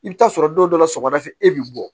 I bɛ taa sɔrɔ don dɔ la sɔgɔmada fɛ e bɛ bɔ